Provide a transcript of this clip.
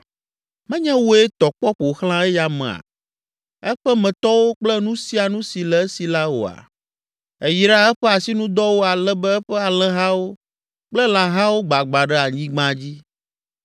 Menye wòe tɔ kpɔ ƒo xlã eya amea, eƒemetɔwo kple nu sia nu si le esi la oa? Èyra eƒe asinudɔwo ale be eƒe alẽhawo kple lãhawo gbagbã ɖe anyigba dzi.